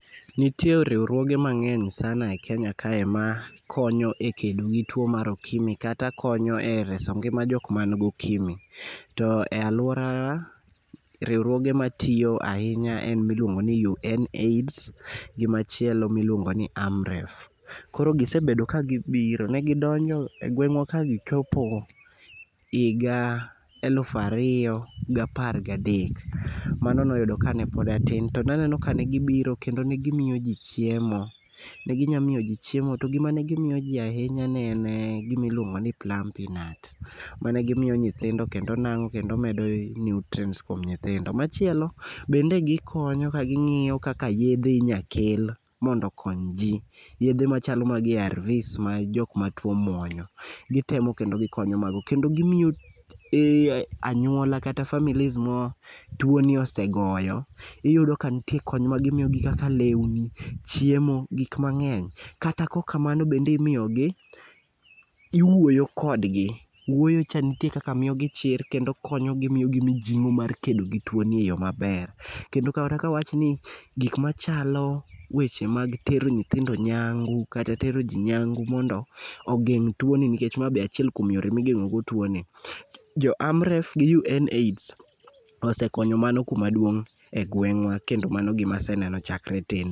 Nitie riwruoge mang'eny sana e Kenya kae makonyo e kedo gi tuo mar okimi kata konyo e reso ngima jokmango okimi. To e alwora, riwruoge matiyo ahinya en miluongo ni UNAIDS gi machielo miluongo ni AMREF. Koro gisebedo kagibiro. Ne gidonjo e gweng'wa ka gichopo higa eluf ariyo gapar gadek. Mano noyudo ka ne pod atin to naneno ka ne gibiro kendo ne gimiyo ji chiemo. Ne ginyamiyoji chiemo to gima ne gimiyoji ahinya ne en gimiluongo ni plumpy'nut mane gimiyo nyithindo kendo nang'o kendo medo nutrients kuom nyithindo. Machielo bende gikonyo ka ging'iyo kaka yedhe inyakel mondo okony ji. Yedhe machalo mag ARVs ma jokma tuo muonyo. Gitemo kendo gikonyo mago kendo gimiyo anyuola kata families ma twoni osegoyo iyudo ka nitie kony magimiyogi kaka lewni, chiemo, gikmang'eny kata kokamano bende imiyogi iwuoyo kodgi, wuoyocha nitie kaka miyogi chir kendo konyogi miyogi mijing'o mar kedo gi tuoni e yo maber kendo kata ka wawachni gik machalo weche mag tero nyithindo nyangu kata tero ji nyangu mondo ogeng' tuoni nikech ma be achiel kuom yore migeng'o go tuoni. Jo AMREF gi UNAIDS osekonyo mano kuma duong' e gweng'wa kendo mano gima aseneno chakre tin.